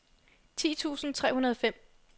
ti tusind tre hundrede og fem